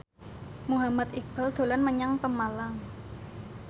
Muhammad Iqbal dolan menyang Pemalang